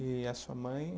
E a sua mãe?